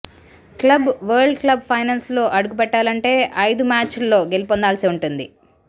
club world club ఫైనల్స్లో అడుగు పెట్టాలంటే ఐదు మ్యాచ్ల్లో గెలుపొందాల్సి ఉంటుంది